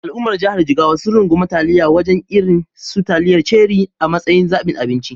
Al’ummar jihar Jigawa sun rungumi taliyar waje irin su taliyar Cherie a matsayin zabin abinci.